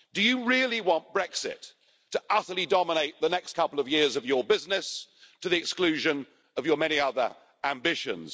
Do you really want Brexit to utterly dominate the next couple of years of your business, to the exclusion of your many other ambitions?